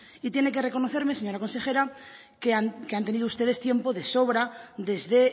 y tiene que reconocerme señora consejera que han tenido ustedes tiempo de sobra desde